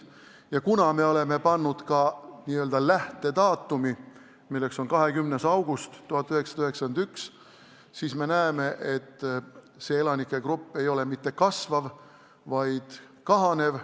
Ja kuna me oleme kirja pannud ka n-ö lähtedaatumi, milleks on 20. august 1991, siis me näeme, et see elanikegrupp ei ole mitte kasvav, vaid kahanev.